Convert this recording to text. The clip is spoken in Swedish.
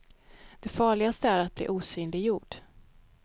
Det farligaste är att bli osynliggjord.